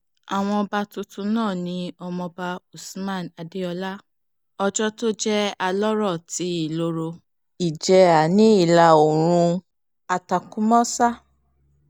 àwọn ọba tuntun náà ni ọmọọba hooshman adeola ọjọ́ tó jẹ́ alọ́rọ̀ ti ìloro-ìjèhà ní ìlà-oòrùn àtàkúnmọ́sá